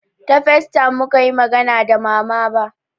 Ta facetime mukayi magana da mama ba